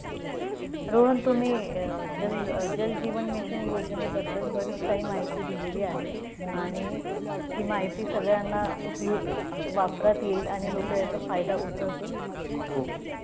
रोहन तुम्ही अं जल अं जलजीवन मिशन योजनेबद्दल बरीच काही माहिती दिलेली आहे. आणि अं हि माहिती सगळ्यांना खूप वापरात येईल. आणि लोक याचा फायदा उचलतील.